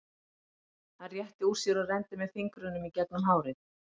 Hann rétti úr sér og renndi með fingrunum í gegnum hárið.